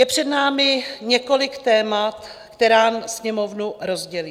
Je před námi několik témat, která Sněmovnu rozdělí.